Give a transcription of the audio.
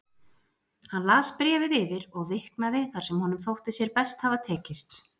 Hann las bréfið yfir og viknaði þar sem honum þótti sér best hafa tekist.